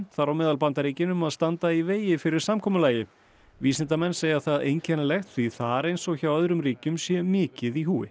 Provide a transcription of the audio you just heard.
þar á meðal Bandaríkin um að standa í vegi fyrir samkomulagi vísindamenn segja það einkennilegt því þar eins og hjá öðrum ríkjum sé mikið í húfi